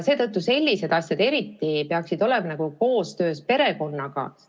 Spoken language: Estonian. Seetõttu peaksid sellised asjad eriti olema koostöös perekonnaga korraldatud.